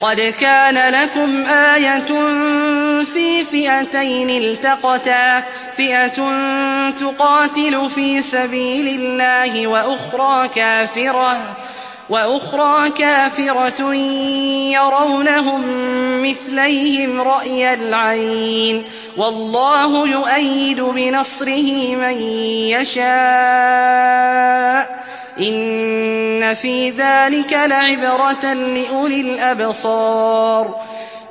قَدْ كَانَ لَكُمْ آيَةٌ فِي فِئَتَيْنِ الْتَقَتَا ۖ فِئَةٌ تُقَاتِلُ فِي سَبِيلِ اللَّهِ وَأُخْرَىٰ كَافِرَةٌ يَرَوْنَهُم مِّثْلَيْهِمْ رَأْيَ الْعَيْنِ ۚ وَاللَّهُ يُؤَيِّدُ بِنَصْرِهِ مَن يَشَاءُ ۗ إِنَّ فِي ذَٰلِكَ لَعِبْرَةً لِّأُولِي الْأَبْصَارِ